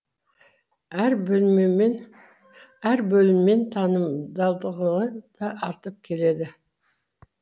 әр бөліммен танымалдылығы да артып келеді